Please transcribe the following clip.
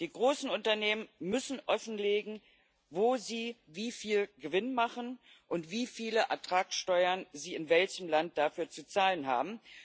Die großen Unternehmen müssen offenlegen, wo sie wie viel Gewinn machen und wie viele Ertragsteuern sie in welchem Land dafür zu zahlen haben.